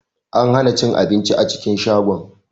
An hana cin abinci a cikin shagon.